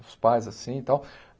Os pais assim e tal.